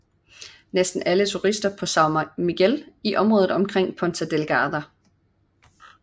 Næsten alle turister holder til på São Miguel i området omkring Ponta Delgada